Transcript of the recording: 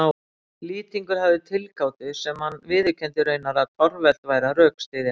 Lýtingur hafði tilgátu sem hann viðurkenndi raunar að torvelt væri að rökstyðja.